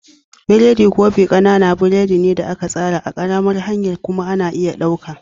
Biredin kofi ƙananan biredi ne da aka tsara a ƙaramar hanya kuma ana iya ɗauka.